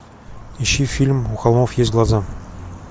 ищи фильм у холмов есть глаза